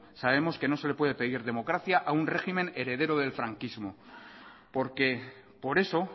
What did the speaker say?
sabemos que no se le puede pedir democracia a un régimen heredero del franquismo porque por eso